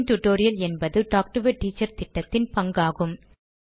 spoken tutorial என்பது talk to a teacher திட்டத்தின் பங்காகும்